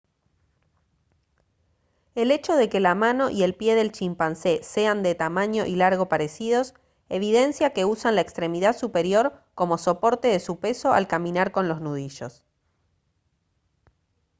el hecho de que la mano y el pie del chimpancé sean de tamaño y largo parecidos evidencia que usan la extremidad superior como soporte de su peso al caminar con los nudillos